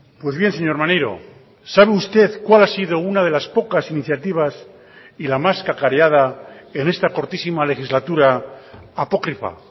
pues bien señor maneiro sabe usted cuál ha sido una de las pocas iniciativas y la más cacareada en esta cortísima legislatura apócrifa